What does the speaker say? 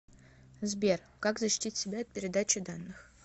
сбер как защитить себя от передачи данных